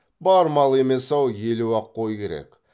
бар мал емес ау елу ақ қой керек